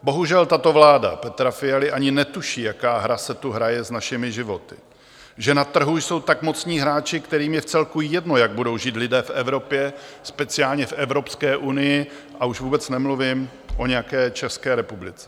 Bohužel, tato vláda Petra Fialy ani netuší, jaká hra se tu hraje s našimi životy, že na trhu jsou tak mocní hráči, kterým je vcelku jedno, jak budou žít lidé v Evropě, speciálně v Evropské unii, a už vůbec nemluvím o nějaké České republice.